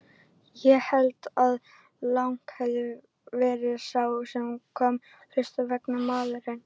Ég held að Lang hafi verið sá sem kom hlutunum í verk, maðurinn á götunni.